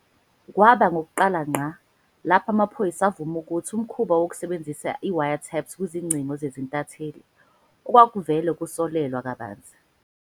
Kwaba ngokokuqala ngqa, lapho amaphoyisa avuma ukuthi umkhuba wokusebenzisa i-wiretaps kwizingcingo zezintatheli, okwakuvele kusolelwa kabanzi.